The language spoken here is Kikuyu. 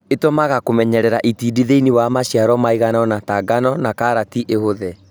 Itũmaga kũmenyerera itindiĩ thĩinĩ wa maciaro maiganona ta ngano na karati ihũthe